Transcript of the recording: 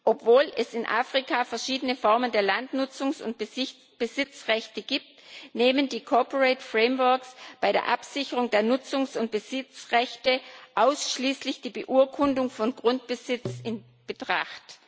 Obwohl es in Afrika verschiedene Formen der Landnutzungs und Besitzrechte gibt, nehmen die corporate frameworks bei der Absicherung der Nutzungs und Besitzrechte ausschließlich die Beurkundung von Grundbesitz in Betracht.